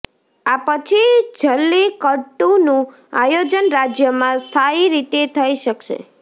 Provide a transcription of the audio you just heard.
આ પછી જલ્લીકટ્ટુનું આયોજન રાજ્યમાં સ્થાયી રીતે થઇ શકશે